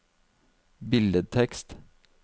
billedtekst